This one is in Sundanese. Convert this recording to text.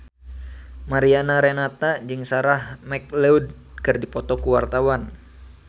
Mariana Renata jeung Sarah McLeod keur dipoto ku wartawan